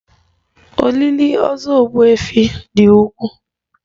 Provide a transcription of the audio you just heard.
Olili ozu Ogbuefi dị ukwuu